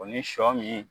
O ni sɔ min